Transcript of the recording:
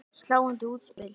Sláandi útspil.